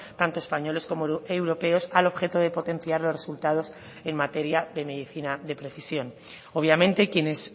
tanto españoles como europeos al objeto de potenciar los resultados en materia de medicina de precisión obviamente quienes